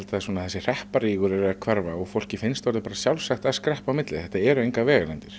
að þessi hrepparígur er að hverfa og fólki finnst orðið bara sjálfsagt að skreppa á milli þetta eru engar vegalengdir